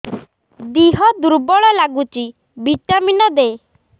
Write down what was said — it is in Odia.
ଦିହ ଦୁର୍ବଳ ଲାଗୁଛି ଭିଟାମିନ ଦେ